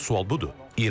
Əsas sual budur.